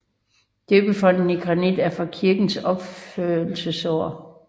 Døbefonten i granit er fra kirkens opførelsesår